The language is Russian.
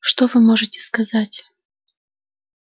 что вы можете сказать